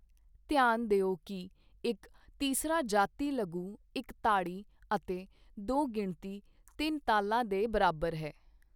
ਧਿਆਨ ਦਿਓ ਕਿ ਇੱਕ ਤੀਸਰਾ ਜਾਤੀ ਲਘੂ ਇੱਕ ਤਾੜੀ ਅਤੇ ਦੋ ਗਿਣਤੀ ਤਿੰਨ ਤਾਲਾਂ ਦੇ ਬਰਾਬਰ ਹੈ।